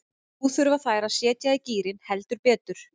Nú þurfa þær að setja í gírinn, heldur betur.